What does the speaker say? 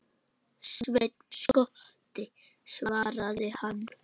Sveinn skotti, svaraði hann.